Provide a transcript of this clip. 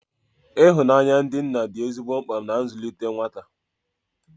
Ihụnanya ndị nna dị ezigbo mkpa na nzụlite nwata